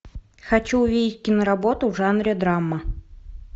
хочу увидеть киноработу в жанре драма